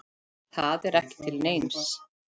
Það er ekki til neins.